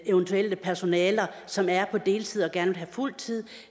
eventuelle personaler som er på deltid og gerne vil fuld tid